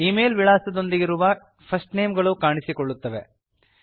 email ವಿಳಾಸದೊಂದಿರುವ first names ಗಳು ಕಾಣಿಸುತ್ತವೆ